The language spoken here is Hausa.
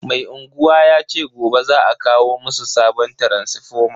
Mai unguwa yace gobe za a kawo musu sabon taransifoma.